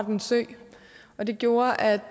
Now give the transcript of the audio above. en sø og det gjorde at